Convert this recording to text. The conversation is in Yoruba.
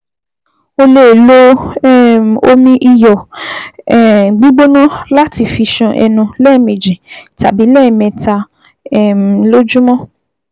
O lè lo um omi iyọ̀ um gbígbóná láti fi ṣan ẹnu lẹ́ẹ̀mejì tàbí lẹ́ẹ̀mẹ́ta um lójúmọ́